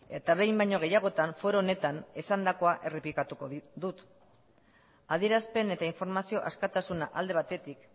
eta behin baino gehiagotan foro honetan esandakoa errepikatuko dut adierazpeneta informazio askatasuna alde batetik